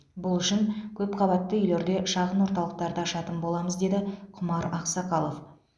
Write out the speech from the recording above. бұл үшін көпқабатты үйлерде шағын орталықтарды ашатын боламыз деді құмар ақсақалов